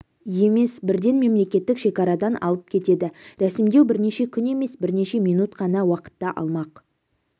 емес бірден мемлекеттік шекарадан алып кетеді рәсімдеу бірнеше күн емес бірнеше минут қана уақытты алмақ